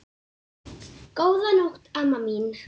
Góða nótt, amma mín.